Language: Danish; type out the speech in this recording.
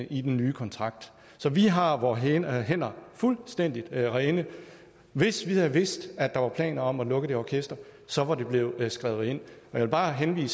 i den nye kontrakt så vi har vore hænder hænder fuldstændig rene hvis vi havde vidst at der var planer om at lukke det orkester så var det blevet skrevet ind jeg vil bare henlede